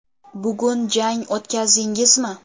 Bugun jang o‘tkazdingizmi?